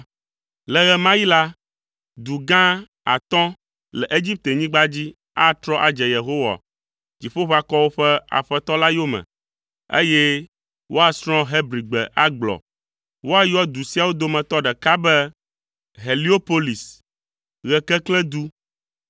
Le ɣe ma ɣi la, du gã atɔ̃ le Egiptenyigba dzi atrɔ adze Yehowa, Dziƒoʋakɔwo ƒe Aƒetɔ la yome, eye woasrɔ̃ Hebrigbe agblɔ. Woayɔ du siawo dometɔ ɖeka be Heliopolis, Ɣekeklẽdu.